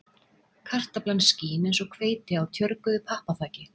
Kartaflan skín eins og hveiti á tjörguðu pappaþaki